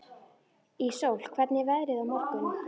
Íssól, hvernig er veðrið á morgun?